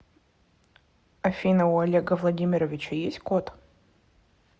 афина у олега владимировича есть кот